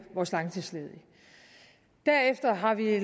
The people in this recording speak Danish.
vores langtidsledige derefter har vi